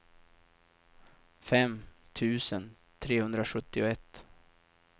fem tusen trehundrasjuttioett